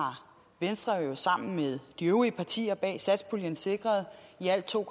venstre jo sammen med de øvrige partier bag satspuljen sikret i alt to